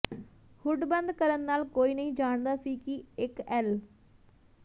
hood ਬੰਦ ਕਰਨ ਨਾਲ ਕੋਈ ਨਹੀਂ ਜਾਣਦਾ ਸੀ ਕਿ ਇਕ ਐੱਲ